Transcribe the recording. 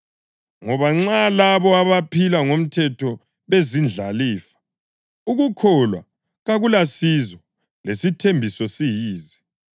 Ngoba nxa labo abaphila ngomthetho bezindlalifa, ukukholwa kakulasizo lesithembiso siyize,